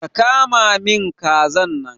Ka kama min kazan nan!